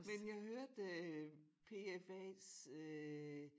Men jeg hørte øh PFAs øh